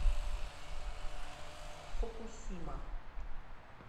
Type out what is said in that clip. фукусима